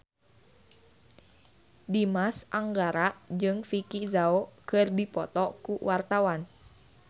Dimas Anggara jeung Vicki Zao keur dipoto ku wartawan